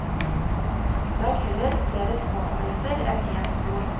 Lag heller flere små omeletter enn en stor.